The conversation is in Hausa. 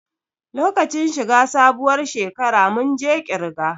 Lokacin shi ga sabuwar shekara mun je ƙirge